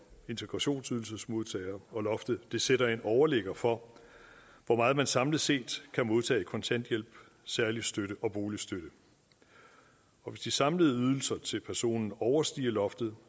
integrationsydelsesmodtagere og loftet sætter en overligger for hvor meget man samlet set kan modtage i kontanthjælp særlig støtte og boligstøtte hvis de samlede ydelser til personen overstiger loftet